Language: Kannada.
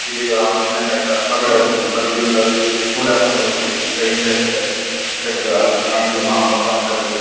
ಗಿಳಿಗಳು ಹಣ್ಣ್ ತಿನ್ನಕೆ ಅಂತ ಹೊರಗಡೆ ಹೋಗ್ತಾರೆ ಬಟ್ ಇಗ್ಲಿನ್ ಕಾಲದಲ್ಲಿ ಕೂಡ ಹಾಕೊಂಡು ಅವುಕೆ ಚಿತ್ರ ಹಿಂಸೆ ಕೊಡತಾರೆ ಹಿಂಸೆ ಕೊಟ್ರು ಪ್ರಾಣಿಗಳು ಮಹಾಪಾಪ ಅಂತ ಹೇಳ್ಬಹುದು.